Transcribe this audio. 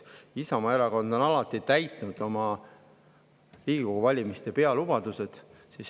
Isamaa Erakond on alati täitnud oma Riigikogu valimiste pealubadused.